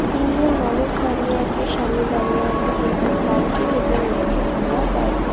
তিন জন মানুষ দাঁড়িয়ে আছে সামনে দাঁড়িয়ে আছে তিনটি সাইকেল এবং একটি ভাঙা গাড়ি।